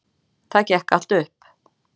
Það gekk allt upp.